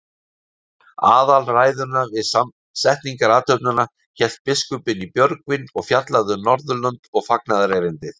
Aðalræðuna við setningarathöfnina hélt biskupinn í Björgvin og fjallaði um Norðurlönd og fagnaðarerindið.